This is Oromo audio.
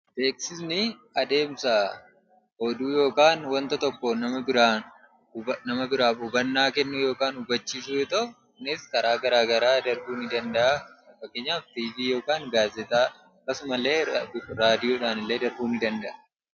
Beeksisni adeemsa oduu yookaan wanta tokko nama biraaf hubannaa kennuu yookiin hubachiisuu yemmuu ta'u, kunis karaa gara garaa darbuu nidanda'a. Fakkeenyaaf tiivii yookaan gaazexaa yookaan raadiyoodhaan illee darbuu nidanda'a.